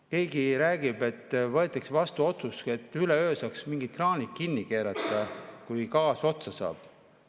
Keegi räägib, et võetakse vastu otsus, et üleöö saaks mingid kraanid kinni keerata, kui gaas otsa saab.